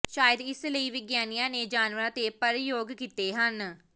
ਸ਼ਾਇਦ ਇਸ ਲਈ ਵਿਗਿਆਨੀਆ ਨੇ ਜਾਨਵਰਾਂ ਤੇ ਪਰਯੋਗ ਕੀਤੇ ਹਨ